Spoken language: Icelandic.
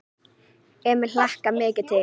Emil hlakkaði mikið til.